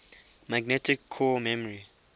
magnetic core memory